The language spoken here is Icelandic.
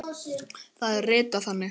Það er ritað þannig